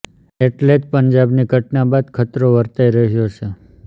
એટલે જ પંજાબની ઘટના બાદ ખતરો વર્તાઈ રહ્યો છે